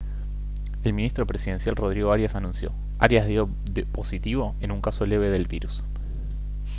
el ministro presidencial rodrigo arias anunció: «arias dio positivo en un caso leve del virus»